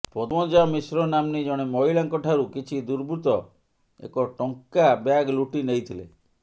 ପଦ୍ମଜା ମିଶ୍ର ନାମ୍ନୀ ଜଣେ ମହିଳାଙ୍କଠାରୁ କିଛି ଦୁର୍ବୃତ୍ତ ଏକ ଟଙ୍କା ବ୍ୟାଗ୍ ଲୁଟି ନେଇଥିଲେ